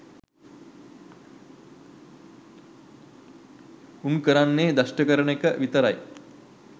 උන් කරන්නේ දෂ්ට කරන එක විතරයි